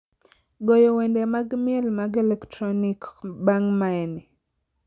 goyo wende mag miel mag elektronik bang' maeni